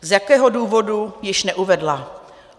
Z jakého důvodu, již neuvedla.